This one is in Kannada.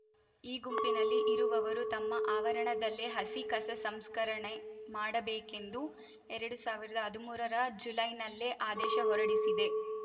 ಈ ಗುಂಪಿನಲ್ಲಿ ಇರುವವರು ತಮ್ಮ ಆವರಣದಲ್ಲೇ ಹಸಿ ಕಸ ಸಂಸ್ಕರಣೆ ಮಾಡಬೇಕೆಂದು ಎರಡು ಸಾವಿರದ ಹದ್ಮುರರ ಜುಲೈನಲ್ಲೇ ಆದೇಶ ಹೊರಡಿಸಿದೆ